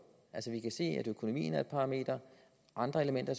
vi kan se at økonomien er et parameter andre elementer